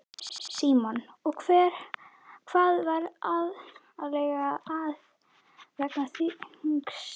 Símon: Og hvað er aðallega að vega þyngst?